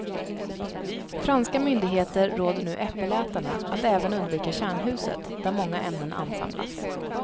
Franska myndigheter råder nu äppelätarna att även undvika kärnhuset, där många ämnen ansamlas.